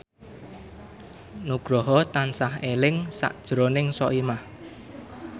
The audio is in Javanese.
Nugroho tansah eling sakjroning Soimah